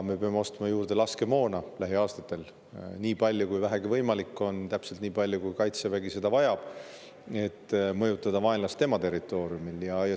Me peame ostma lähiaastatel juurde laskemoona nii palju, kui vähegi võimalik on, täpselt nii palju, kui Kaitsevägi seda vajab, et saaks mõjutada vaenlast tema territooriumil.